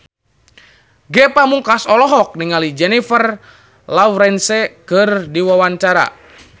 Ge Pamungkas olohok ningali Jennifer Lawrence keur diwawancara